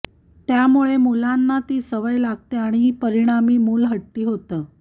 त्यामुळे मुलांना ती सवय लागते आणि परिणामी मूल हट्टी होतं